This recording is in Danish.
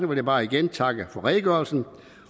vil jeg bare igen takke for redegørelsen